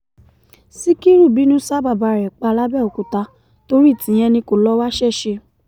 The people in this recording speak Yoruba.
síkírù bínú ṣa bàbá ẹ̀ pa làbẹ̀òkúta torí tìyẹn ni kó lọ́ọ́ wáṣẹ́ ṣe